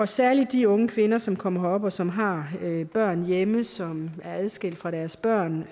særligt de unge kvinder som kommer herop og som har børn hjemme altså som er adskilt fra deres børn